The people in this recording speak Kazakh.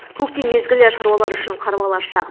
көктем мезгілі шаруалар үшін қарбалас шақ